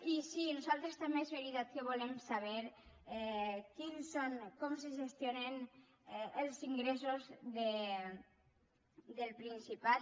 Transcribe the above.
i sí nosaltres també és veritat que volem saber quins són com se gestionen els ingressos del principat